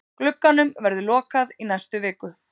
Glugganum verður lokað í næstu viku.